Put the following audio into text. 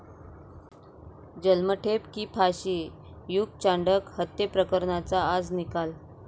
जन्मठेप की फाशी? युग चांडक हत्येप्रकरणाचा आज निकाल